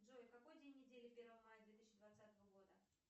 джой какой день недели первого мая две тысячи двадцатого года